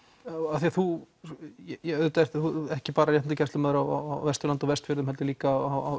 af því að þú ert ekki bara réttindagæslumaður á Vesturlandi og Vestfjörðum heldur líka á